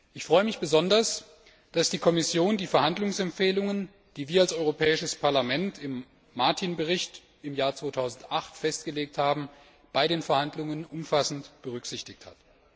Ich freue mich besonders, dass die Kommission die Verhandlungsempfehlungen, die wir als Europäisches Parlament im Bericht Martin im Jahr 2008 festgelegt haben, bei den Verhandlungen umfassend berücksichtigt hat.